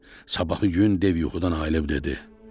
Sabahı gün dev yuxudan ayılıb dedi: